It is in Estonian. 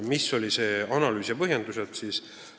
Milline oli ministeeriumi analüüs ja millised põhjendused?